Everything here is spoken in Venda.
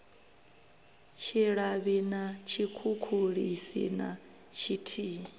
tshilavhi na tshikhukhulisi na tshithihi